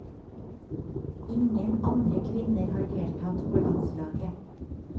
Ingen andre kvinner har deltatt på landslaget.